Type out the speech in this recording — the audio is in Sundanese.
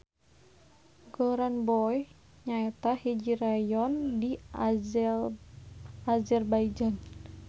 Goranboy nyaeta hiji rayon di Azerbaijan.